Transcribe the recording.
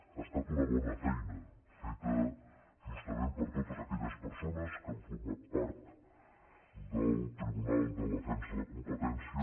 ha estat una bona feina feta justament per totes aque·lles persones que han format part del tribunal de de·fensa de la competència